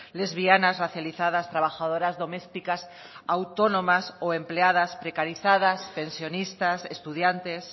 lesbianas racializadas trabajadoras domésticas autónomas o empleadas precarizadas pensionistas estudiantes